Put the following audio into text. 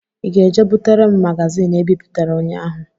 I ga-eje butere m magazin e bipụtara ụnyahụ?